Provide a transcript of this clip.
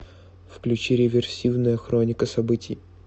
включи реверсивная хроника событий